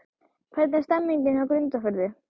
Hvernig er stemningin hjá Grundarfirði?